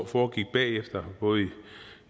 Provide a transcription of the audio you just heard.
foregik bagefter